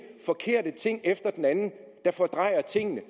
forkerte ting efter den anden der fordrejer tingene